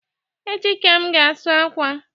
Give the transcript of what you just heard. Echi ka m ga asụ akwa